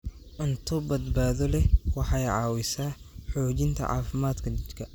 Cunto badbaado leh waxay caawisaa xoojinta caafimaadka jidhka.